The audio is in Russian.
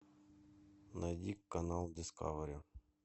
найди канал дискавери